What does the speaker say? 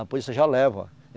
A polícia já leva.